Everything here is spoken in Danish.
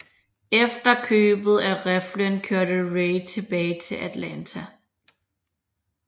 Efter købet af riflen kørte Ray tilbage til Atlanta